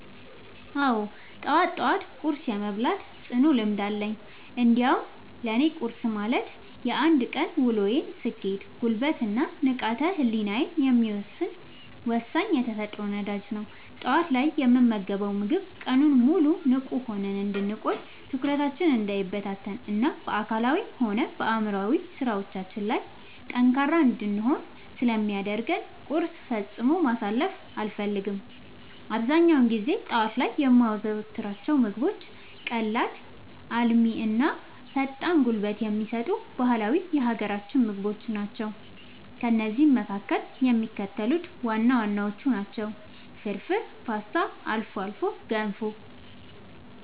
አዎ፣ ጠዋት ጠዋት ቁርስ የመብላት ጽኑ ልምድ አለኝ። እንዲያውም ለእኔ ቁርስ ማለት የአንድ ቀን ውሎዬን ስኬት፣ ጉልበት እና ንቃተ ህሊናዬን የሚወሰን ወሳኝ የተፈጥሮ ነዳጅ ነው። ጠዋት ላይ የምንመገበው ምግብ ቀኑን ሙሉ ንቁ ሆነን እንድንቆይ፣ ትኩረታችን እንዳይበታተን እና በአካላዊም ሆነ በአእምሯዊ ስራዎቻችን ላይ ጠንካራ እንድንሆን ስለሚያደርገን ቁርስን ፈጽሞ ማሳለፍ አልፈልግም። አብዛኛውን ጊዜ ጠዋት ላይ የማዘወትራቸው ምግቦች ቀላል፣ አልሚ እና ፈጣን ጉልበት የሚሰጡ ባህላዊ የሀገራችንን ምግቦች ናቸው። ከእነዚህም መካከል የሚከተሉት ዋና ዋናዎቹ ናቸው፦ ፍርፍር: ፖስታ: አልፎ አልፎ ገንፎ